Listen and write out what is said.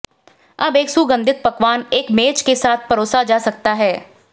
अब एक सुगंधित पकवान एक मेज के साथ परोसा जा सकता है